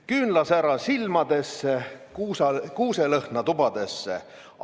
"Küünlasära silmadesse, kuuselõhna tubadesse!